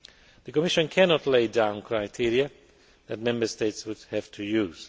The Commission cannot lay down criteria that Member States would have to use.